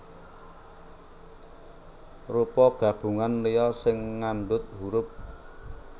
Rupa gabungan liya sing ngandhut hurup